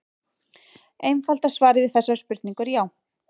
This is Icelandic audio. Einfalda svarið við þessari spurningu er já.